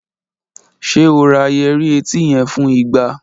Ṣe o ra yẹrì eti yẹn fun igba?